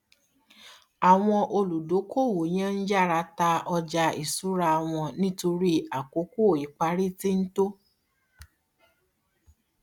àwọn olùdókoòwò yẹn ń yára ta ọjà ìṣura wọn nítorí àkókò ìparí ti ń tó